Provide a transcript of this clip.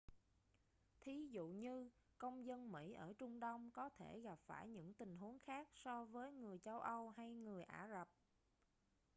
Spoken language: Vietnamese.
thí dụ như công dân mỹ ở trung đông có thể gặp phải những tình huống khác so với người châu âu hay người ả rập